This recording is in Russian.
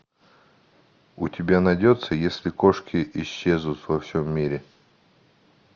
у тебя найдется если кошки исчезнут во всем мире